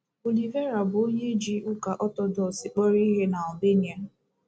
Olivera bụ onye ji Ụka Ọtọdọks kpọrọ ihe n’Albania.